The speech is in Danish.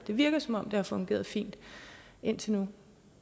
virker som om det har fungeret fint indtil nu